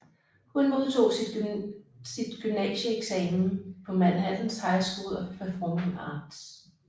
Hun modtog sit gymnasieeksamen på Manhattans High School of Performing Arts